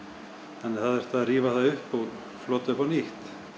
þannig að það þurfti að rífa það upp og flota upp á nýtt